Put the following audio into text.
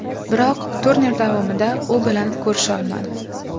Biroq turnir davomida u bilan ko‘risha olmadim.